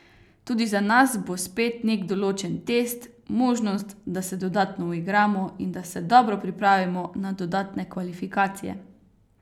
Tudi za nas bo spet nek določen test, možnost, da se dodatno uigramo in da se dobro pripravimo na dodatne kvalifikacije.